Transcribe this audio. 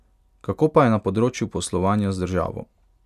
Kako pa je na področju poslovanja z državo?